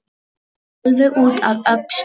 Alveg út að öxlum!